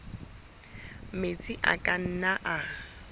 metsi a ka nnang a